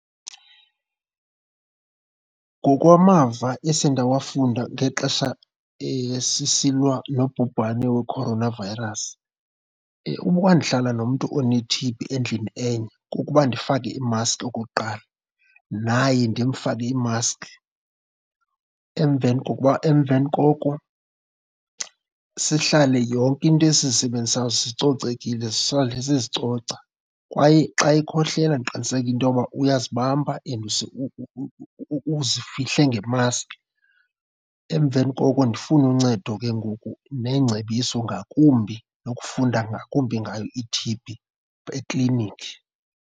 Ngokwamava esendawafunda ngexesha sisilwa nobhubhane we-coronavirus, ukuba ndihlala nomntu one-T_B endlini enye kukuba ndifake imaski okokuqala naye ndimfake imaski. Emveni kokuba, emveni koko sihlale yonke into esizisebenzisayo zicocekile zisale sizicoca. Kwaye xa ekhohlela ndiqiniseke into uba uyazibamba and uzifihle ngemaski. Emveni koko ndifune uncedo ke ngoku neengcebiso ngakumbi nokufunda ngakumbi ngayo i-T-B ekliniki.